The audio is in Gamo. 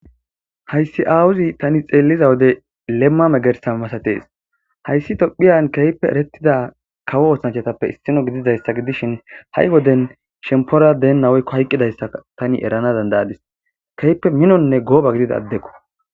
hayssi aawuzi tani xeelliza wode lemma megersa masatees hayssi tophiyan keype erettida kawo oosanchatappe issino gididayssa gidishin ha7i woden shempora deen naweykko hayqqidayssa tani erana dandayadis keyppe minonne gooba gidida addekko